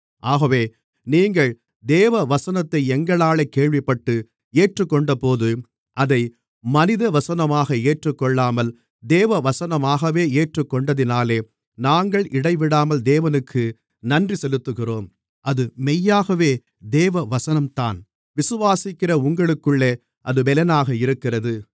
ஆகவே நீங்கள் தேவவசனத்தை எங்களாலே கேள்விப்பட்டு ஏற்றுக்கொண்டபோது அதை மனித வசனமாக ஏற்றுக்கொள்ளாமல் தேவவசனமாகவே ஏற்றுக்கொண்டதினாலே நாங்கள் இடைவிடாமல் தேவனுக்கு நன்றி செலுத்துகிறோம் அது மெய்யாகவே தேவவசனம்தான் விசுவாசிக்கிற உங்களுக்குள்ளே அது பெலனாக இருக்கிறது